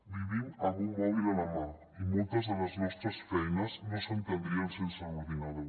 vivim amb un mòbil a la mà i moltes de les nostres feines no s’entendrien sense l’ordinador